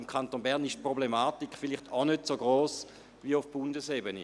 Im Kanton Bern ist die Problematik vielleicht auch nicht so gross wie auf Bundesebene.